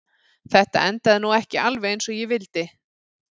Þetta endaði nú ekki alveg eins og ég vildi.